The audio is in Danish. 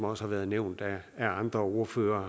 også har været nævnt af andre ordførere